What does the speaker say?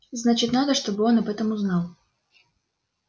значит надо чтобы он об этом узнал